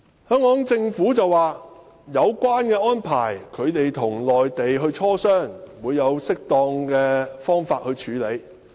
香港政府表示會就有關安排與內地進行磋商，並以適當的方式處理。